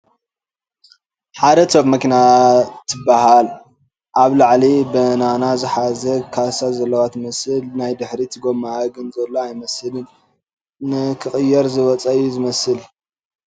ሓርድ ቶፐ መኪና ትበሃለ ኣብ ላዕሊ በናና ዝሓዘ ካሳ ዘለዋ ትመስል ፡ ናይ ድሕሪት ጎመኣ ግን ዘሎ ኣይመስልን ንኽቕየር ዝወፀ እዩ ዝመስል ።